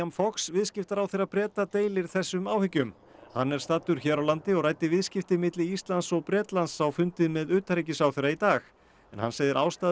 Fox viðskiptaráðherra Breta deilir þessum áhyggjum hann er staddur hér á landi og ræddi viðskipti milli Íslands og Bretlands á fundi með utanríkisráðherra í dag hann segir að ástæða